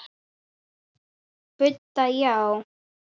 Budda: Já.